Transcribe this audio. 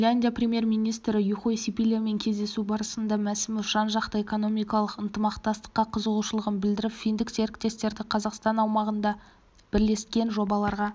финляндия премьер-министрі юхой сипилямен кездесу барысында мәсімов жан-жақты экономикалық ынтымақтастыққа қызығушылығын білдіріп финдік серіктестерді қазақстан аумағында бірлескен жобаларға